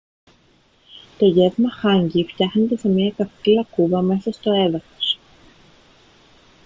to γεύμα hangi φτιάχνετε σε μια καυτή λακκούβα μέσα στο έδαφος